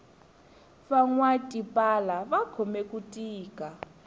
vanwa tipala va khome ku tika